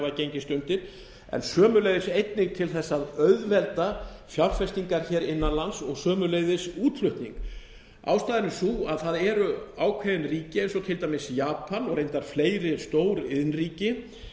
gengist undir en sömuleiðis einnig til að auðvelda fjárfestingar innan lands og sömuleiðis útflutning ástæðan er sú að það eru ákveðin ríki eins og til dæmis japan og reyndar fleiri stór iðnríki